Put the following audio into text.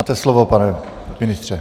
Máte slovo, pane ministře.